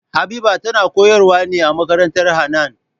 Habiba tana koyar wa ne a makarantar Hanan